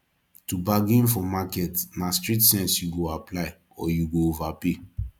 to bargain for market na street sense yu go apply or yu go overpay